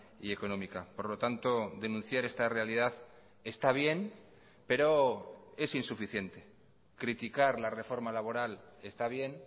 y económica por lo tanto denunciar esta realidad está bien pero es insuficiente criticar la reforma laboral está bien